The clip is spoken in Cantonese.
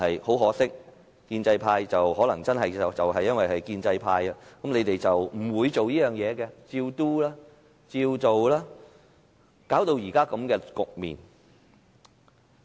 很可惜，建制派可能真的因為是建制派，是不會這樣做的，只會按指示做，導致現時這個局面。